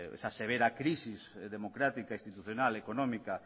pues esa severa crisis democrática institucional económica